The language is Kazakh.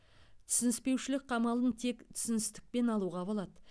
түсініспеушілік қамалын тек түсіністікпен алуға болады